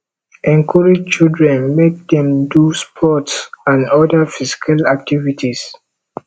encourage children make dem do sports and oda physical activities